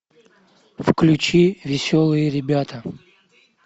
включи веселые ребята